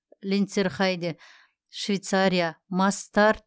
ленцерхайде швейцария масс старт